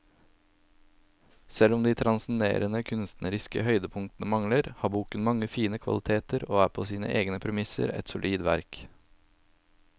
Selv om de transcenderende kunstneriske høydepunktene mangler, har boken mange fine kvaliteter og er på sine egne premisser et solid verk.